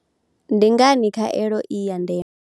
Ndi ngani khaelo i ya ndeme?